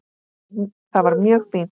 Það var mjög fínt.